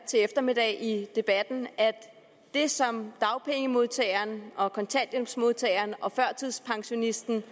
til eftermiddag i debatten at det som dagpengemodtageren og kontanthjælpsmodtageren og førtidspensionisten